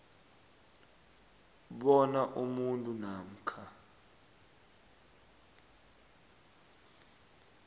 bona umuntu namkha